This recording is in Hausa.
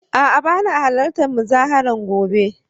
A'a bana halartar muzaharar gobe